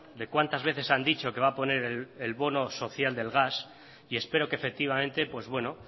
de cuántas veces han dicho que van a poner el bono social del gas y espero que efectivamente pues bueno